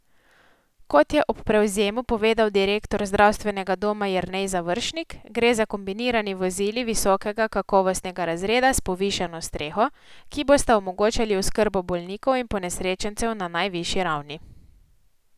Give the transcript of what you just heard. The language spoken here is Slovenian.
Kot je ob prevzemu povedal direktor zdravstvenega doma Jernej Završnik, gre za kombinirani vozili visokega kakovostnega razreda s povišano streho, ki bosta omogočali oskrbo bolnikov in ponesrečencev na najvišji ravni.